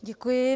Děkuji.